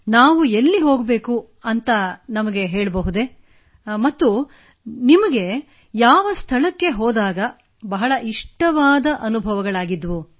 ನಾವು ಎಲ್ಲಿ ಹೋಗಬೇಕು ಎಂದು ನಮಗೆ ಹೇಳಬಹುದೇ ಮತ್ತು ನಿಮಗೆ ಯಾವ ಸ್ಥಳಕ್ಕೆ ಹೋದಾಗ ಬಹಳ ಇಷ್ಟವಾದ ಅನುಭವವಾಗಿತ್ತು